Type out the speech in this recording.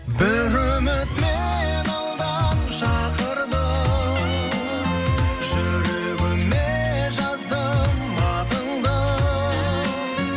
бір үміт мені алдан шақырды жүрегіме жаздым атыңды